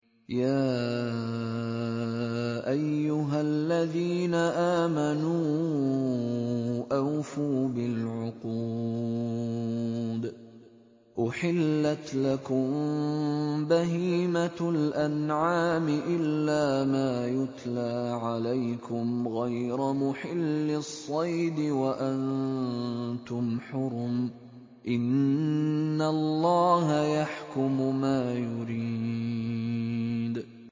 يَا أَيُّهَا الَّذِينَ آمَنُوا أَوْفُوا بِالْعُقُودِ ۚ أُحِلَّتْ لَكُم بَهِيمَةُ الْأَنْعَامِ إِلَّا مَا يُتْلَىٰ عَلَيْكُمْ غَيْرَ مُحِلِّي الصَّيْدِ وَأَنتُمْ حُرُمٌ ۗ إِنَّ اللَّهَ يَحْكُمُ مَا يُرِيدُ